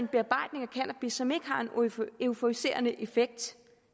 en som ikke har en euforiserende effekt